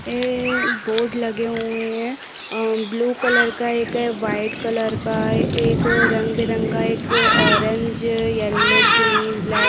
ए board लगे हुए हैं ब्लू कलर का एक है एक वाइट कलर का है एक रंग-बिरंगा एक ऑरेंज येलो ग्रीन ब्लैक --